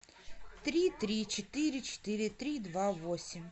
три три четыре четыре три два восемь